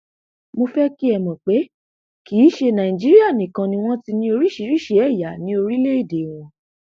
mo fẹ kí ẹ mọ pé kì í ṣe nàìjíríà nìkan ni wọn ti ní oríṣiríṣii ẹyà ní orílẹèdè wọn